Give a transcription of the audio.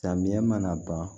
Samiya mana ban